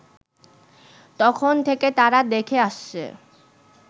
তখন থেকে তারা দেখে আসছে